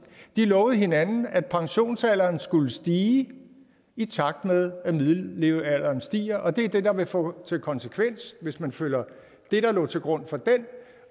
lovede hinanden at pensionsalderen skulle stige i takt med at middellevealderen stiger og det er det der vil få til konsekvens hvis man følger det der lå til grund for den